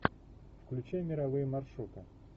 включай мировые маршруты